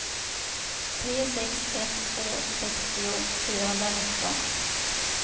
tre sex ett två sextio fyrahundranitton